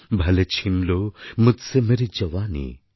ভালে ছিন্ লো মুঝসে মেরি জওয়ানী